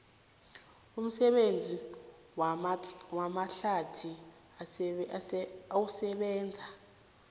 umsebenzi wamahlathi osebenza